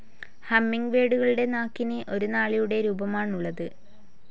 ഹമ്മിങ്ബേഡുകളുടെ നാക്കിന് ഒരു നാളിയുടെ രൂപമാണുള്ളത്.